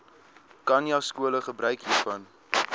khanyaskole gebruik hiervan